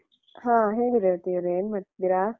ಹ ಹೇಳಿ ರೇವತಿಯವರೆ ಏನ್ ಮಾಡ್ತಿದ್ದೀರಾ?